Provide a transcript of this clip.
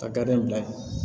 Ka garidi in bila yen